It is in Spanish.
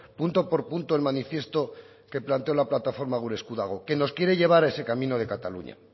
punto por punto el manifiesto que planteó la plataforma gure esku dago que nos quiere llevar a ese camino de cataluña